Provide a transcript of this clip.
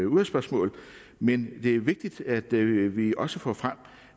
udvalgsspørgsmål men det er vigtigt at vi vi også får frem